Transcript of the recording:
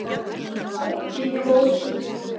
Því fór, sem fór.